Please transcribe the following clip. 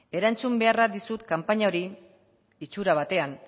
erantzun behar dizut kanpaina hori itxura batean